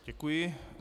Děkuji.